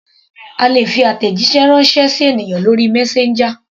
A lè fi àtẹ̀jíṣẹ́ ránṣẹ́ sí ènìyàn lórí messenger.